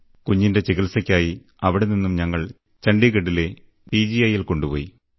കുഞ്ഞിന്റെ ചികിത്സയ്ക്കായി അവിടെനിന്നും ഞങ്ങൾ ചണ്ഡിഗഡിലെ പി ജി ഐയിൽ കൊണ്ടുപോയി